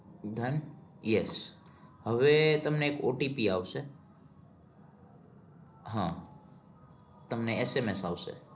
વિધાન yes હવે તમને એક OTP આવશે. હા. તમને SMS આવશે.